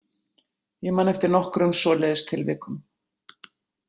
Ég man eftir nokkrum svoleiðis tilvikum.